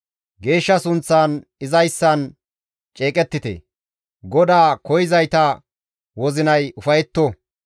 Geeshsha sunththan izayssan ceeqettite; GODAA koyzayta wozinay ufayetto.